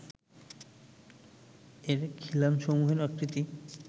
এর খিলানসমূহের আকৃতি